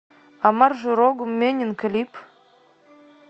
омар журогум менин клип